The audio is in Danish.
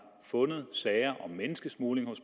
fundet sager om menneskesmugling og